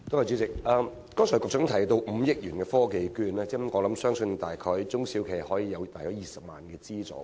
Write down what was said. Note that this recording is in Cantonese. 局長剛才提到5億元的"科技券計劃"，相信中小企每次可以得到約20萬元資助。